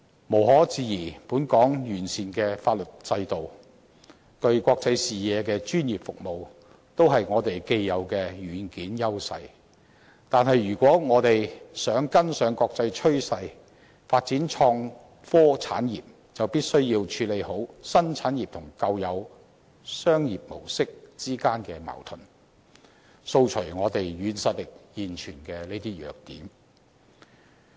無可置疑，本港完善的法律制度，以及具國際視野的專業服務，均是我們既有的"軟件"優勢，但如果我們想跟上國際趨勢發展創科產業，便必須要妥善處理新產業與舊有商業模式之間的矛盾，掃除這些現存於我們"軟實力"的弱點。